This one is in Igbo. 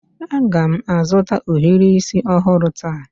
Aga m azụta ohiri isi ọhụrụ taa